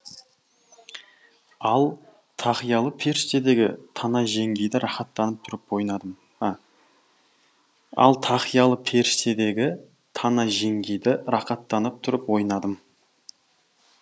ал тақиялы періштедегі тана жеңгейді рақаттанып тұрып ойнадым ал тақиялы періштедегі тана жеңгейді рақаттанып тұрып ойнадым